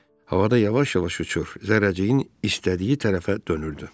Havada yavaş-yavaş uçur, zərrəciyin istədiyi tərəfə dönürdü.